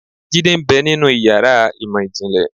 Jidé ń bẹ́ ninú ìyára imọ jinlẹ